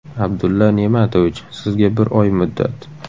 Abdulla Ne’matovich, sizga bir oy muddat.